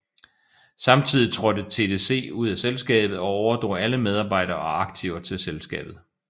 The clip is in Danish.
Samtidig trådte TDC ud af selskabet og overdrog alle medarbejdere og aktiver til selskabet